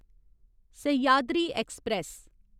Sahyadri express